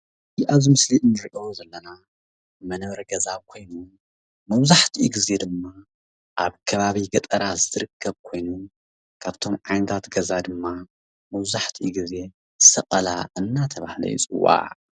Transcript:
ኣብዚ ምስሊ እንሪኦ ዘለና መንበሪ ገዛ ኮይኑ መብዛሕትኡ ግዜ ድማ ኣብ ከባቢ ገጠራት ዝርከብ ኮይኑ ካብቶም ዓይነታት ገዛ ድማ ምብዛሕትኡ ግዜ ሰቀላ እንዳተባሃለ ይፅዋዕ፡፡